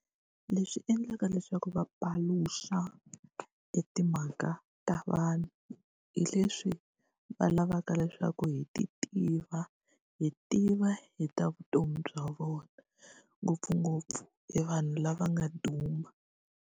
Leswi endlaka leswaku va paluxa e timhaka ta vanhu, hi leswi va lavaka leswaku hi ti tiva, hi tiva hi ta vutomi bya vona. Ngopfungopfu e vanhu lava nga duma.